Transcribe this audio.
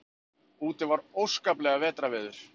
Úti var óskaplegt vetrarveður.